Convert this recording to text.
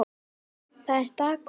Það er dágóð veiði.